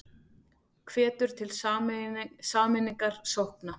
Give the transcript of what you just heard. Hvetur til sameiningar sókna